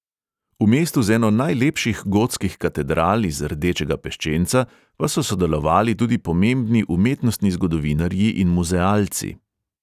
V mestu z eno najlepših gotskih katedral iz rdečega peščenca pa so sodelovali tudi pomembni umetnostni zgodovinarji in muzealci.